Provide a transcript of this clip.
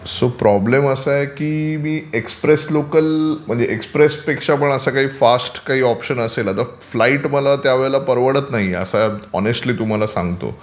So problem असा आहे की मी एक्सप्रेस लोकल किंवा एक्सप्रेस पेक्षा फास्ट पण असा काही ऑप्शन असेल का? फ्लाइट मला त्यावेळी परवडत नाही, मी ओनेस्ट्ली तुम्हाला सांगतो